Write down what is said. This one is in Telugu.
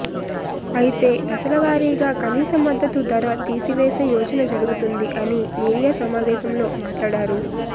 అయితే దశల వారీగా కనీస మద్దతు ధరతీసివేసే యోచన జరుగుతుంది అని మీడియా సమావేశం లో మాట్లాడారు